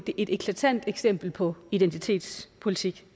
et eklatant eksempel på identitetspolitik